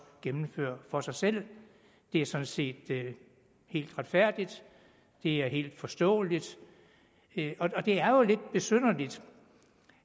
gennemføre for sig selv det er sådan set helt retfærdigt det er helt forståeligt det er jo lidt besynderligt